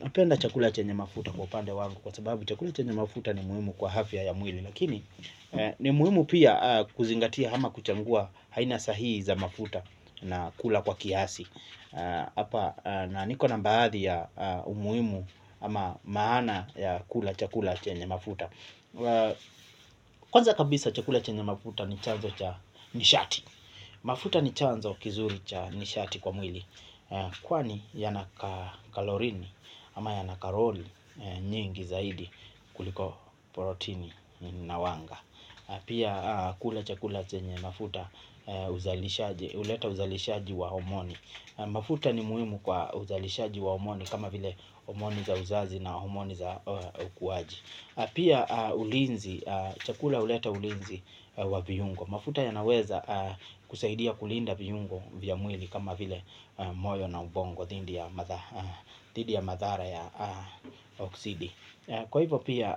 Napenda chakula chenye mafuta kwa pande wangu, kwa sababu chakula chenye mafuta ni muhimu kwa afya ya mwili. Lakini, ni muhimu pia kuzingatia ama kuchagua haina sahii za mafuta na kula kwa kiasi. Hapa na nikona baadhi ya umuhimu ama maana ya kula chakula chenye mafuta. Kwanza kabisa chakula chenye mafuta ni chanzo cha nishati. Mafuta ni chanzo kizuri cha nishati kwa mwili. Kwani yanakalori ama yanakarori nyingi zaidi kuliko protini na wanga. Pia kula chakula zenye mafuta huleta uzalishaji wa homoni. Mafuta ni muhimu kwa uzalishaji wa homoni kama vile homoni za uzazi na homoni za ukuaji. Pia ulinzi, chakula huleta ulinzi wa viungo. Mafuta ya naweza kusaidia kulinda viungo vya mwili kama vile moyo na ubongo dhidi ya madhara ya oksidi Kwa hivyo pia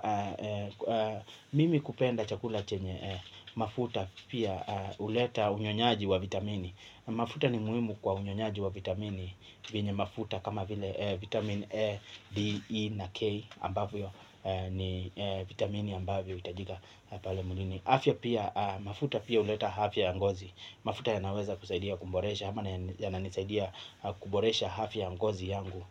mimi kupenda chakula chenye mafuta pia huleta unyonyaji wa vitamini. Mafuta ni muhimu kwa unyonyaji wa vitamini vyenye mafuta kama vile vitamin A, D, E na K ambavyo ni vitamini ambavyo itajiga pale mwilini afya pia mafuta pia uleta hafya yangozi. Mafuta ya naweza kusaidia kuboresha ama ya na nisaidia kuboresha hafya yangozi yangu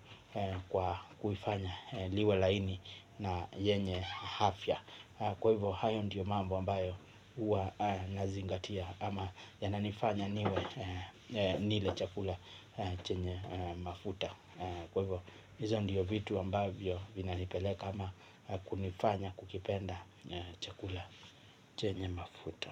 kwa kuifanya liwe laini na yenye hafya. Kwa hivyo hayo ndiyo mambo ambayo uwa nazingatia. Ama ya na nifanya niwe nile chakula chenye mafuta kwa hivyo, hizo ndio vitu ambavyo vinanipeleka kunifanya kukipenda na chakula chenye mafuta.